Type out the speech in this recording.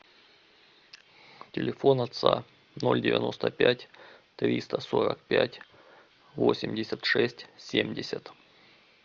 телефон отца ноль девяносто пять триста сорок пять восемьдесят шесть семьдесят